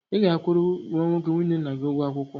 Ị ga-akwụrụ nwa nwoke nwunye nna gị ụgwọ akwụkwọ?